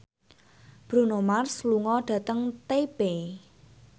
Bruno Mars lunga dhateng Taipei